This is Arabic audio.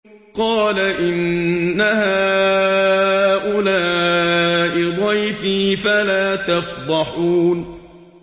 قَالَ إِنَّ هَٰؤُلَاءِ ضَيْفِي فَلَا تَفْضَحُونِ